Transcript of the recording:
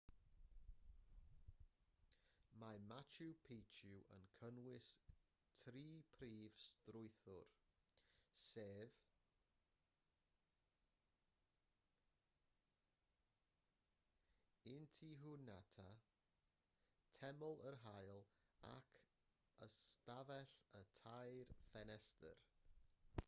mae machu picchu yn cynnwys tri phrif strwythur sef intihuatana teml yr haul ac ystafell y tair ffenestr